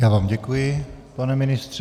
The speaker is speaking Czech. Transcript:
Já vám děkuji, pane ministře.